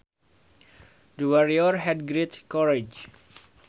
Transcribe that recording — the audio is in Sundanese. The warrior had great courage